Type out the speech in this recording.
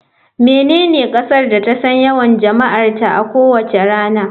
Menene kasar da ta san yawan jama'arta a kowace rana.